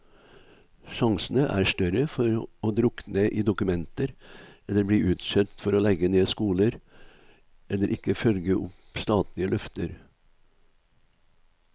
Sjansene er større for å drukne i dokumenter eller bli utskjelt for å legge ned skoler, eller ikke følge opp statlige løfter.